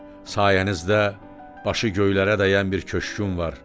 Sayənizdə başı göylərə dəyən bir köşküm var.